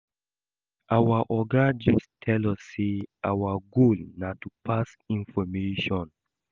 Our Oga just tell us say our goal na to pass information